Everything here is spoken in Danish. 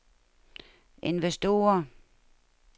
investorer